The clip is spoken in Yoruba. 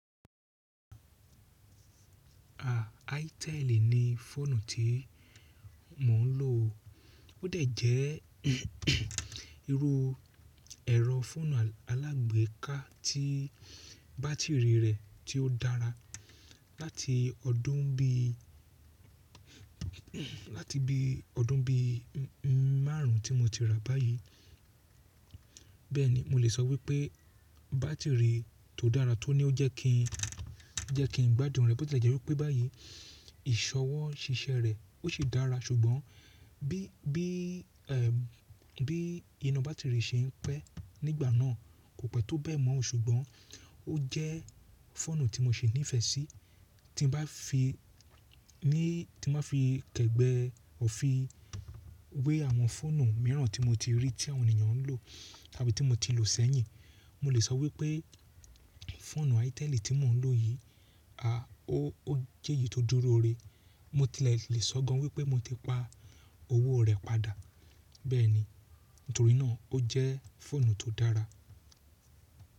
Itel ni fóònù tí mò ń lò o. Ó dẹ̀ jẹ́ irú ẹ̀rọ fóònù alágbèéká tí bátìrì rẹ̀ tí ó dára. Látì ọdún bí, látì bí ọdún bí márún tí mo ti rà báyìí, bẹ́ẹ̀ni mo lè sọ wípé bátìrì tó dára tó ní ójẹ́ kí n, jẹ́ kí n gbádùn rẹ̀. Botè jẹ́ wípé báyì ìṣọwọ́ ṣíṣẹ́ rẹ̀ ó ṣe dára, ṣùgbọ́n bí, bí, ẹm, bí iná bátìrì ṣe ń pẹ́ nígbà náà kò pẹ́ tó bẹ́ẹ̀ mọ́. Ṣùgbọ́n ó jẹ́ fóònù tí mo ṣe nífẹ̀ẹ́ sí. Tí n bá fi ní, tí má fi kẹ̀gbẹ́ òfi wé àwọn fóònù mìíràn tí mo ti rí tí àwọn ènìyàn ń lò tàbí tí mo ti lò ṣẹ̀yìn, mo lè sọ wípé fóònù Iteli tí mò ń lò yìí, a, ó, ó jẹ́ èyí tó dúró re. Motì lè sile sọ gan wípé mo ti pa owó rẹ̀ padà. Bẹ́ẹ̀ni, nítorínà ó jẹ́ fóònù tó dára.